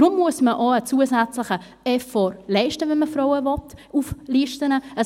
Deshalb muss man auch einen zusätzliche Effort leisten, wenn man Frauen auf Listen haben will.